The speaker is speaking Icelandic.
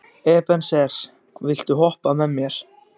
Ebeneser, viltu hoppa með mér?